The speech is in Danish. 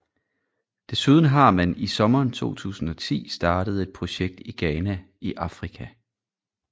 Desuden har man i sommeren 2010 startet et projekt i Ghana i Afrika